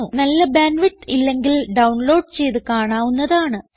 നല്ല band width ഇല്ലെങ്കിൽ download ചെയ്ത് കാണാവുന്നതാണ്